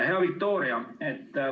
Hea Viktoria!